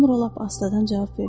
Sonra lap astadan cavab verdi.